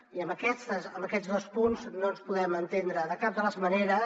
i en aquests dos punts no ens podem entendre de cap de les maneres